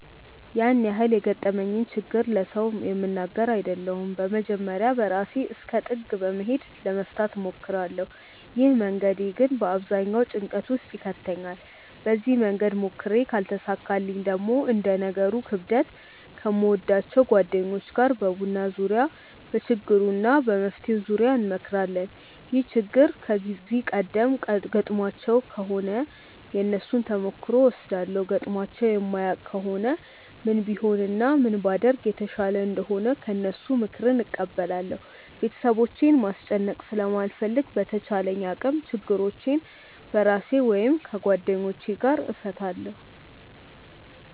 ያን ያህል የገጠመኝን ችግር ለሰው የምናገር አይደለሁም በመጀመርያ በራሴ እስከ ጥግ በመሄድ ለመፍታት እሞክራለው። ይህ መንገዴ ግን በአብዛኛው ጭንቀት ውስጥ ይከተኛል። በዚህ መንገድ ሞክሬ ካልተሳካልኝ ደግሞ እንደ ነገሩ ክብደት ከምወዳቸው ጓደኞቼ ጋር በቡና ዙርያ በችግሩ እና በመፍትሄው ዙርያ እንመክራለን። ይህ ችግር ከዚህ ቀደም ገጥሟቸው ከሆነ የነሱን ተሞክሮ እወስዳለው ገጥሟቸው የማያውቅ ከሆነ ምን ቢሆን እና ምን ባደርግ የተሻለ እንደሆነ ከነሱ ምክርን እቀበላለው። ቤተሰቦቼን ማስጨነቅ ስለማልፈልግ በተቻለኝ አቅም ችግሮቼን በራሴ ወይም ከጓደኞቼ ጋር እፈታለው።